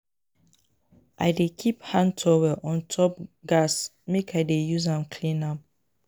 I dey keep hand towel on top gas make I dey use am clean am.